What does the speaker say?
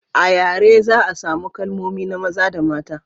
a yare za a samu kalmomi na maza da na mata